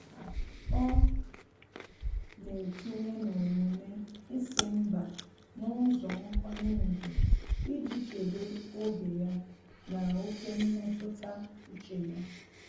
Ọ́ nà-etinye n'omume ísí mbá n’ụ́zọ́ nkwanye ùgwù iji chèbé oge ya na ókè mmetụta úchè ya.